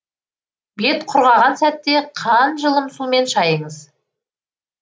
бет құрғаған сәтте қанжылым сумен шайыңыз